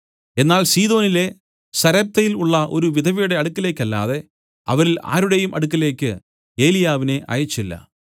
എന്നാൽ സീദോനിലെ സരെപ്തയിൽ ഉള്ള ഒരു വിധവയുടെ അടുക്കലേക്കല്ലാതെ അവരിൽ ആരുടെയും അടുക്കലേക്ക് ഏലിയാവിനെ അയച്ചില്ല